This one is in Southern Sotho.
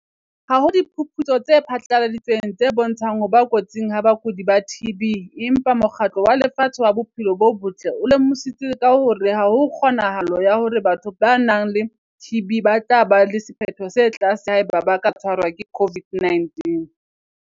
Ha ho diphuputso tse phatlaladitsweng tse bontshang ho ba kotsing ha bakudi ba TB empa Mokgatlo wa Lefatshe wa Bophelo bo Botle o lemositse ka hore ha ho kgonahalo ya hore batho ba nang le TB ba tla ba le sephetho se tlase haeba ba ka tshwarwa ke COVID-19.